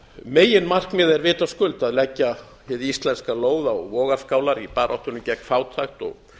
meginmarkmiðið er vitaskuld að leggja hið íslenska lóð á vogarskálar í baráttunni gegn fátækt og